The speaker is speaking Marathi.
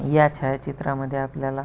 या छाया चित्रामध्ये आपल्याला --